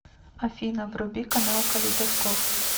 афина вруби канал калейдоскоп